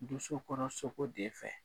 Doso kɔnɔ sogo de fɛ.